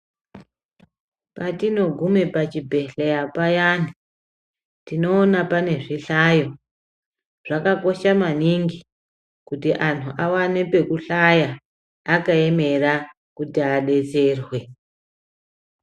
Patinoguma pachibhendhleya payani tinoona pane zvihlayo. Zvakakosha maningi kuti antu awane pekuhlaya akaemera kuti adetserwe.